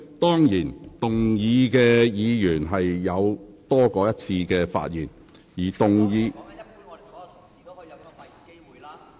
當然，動議議案的議員有多於一次發言機會。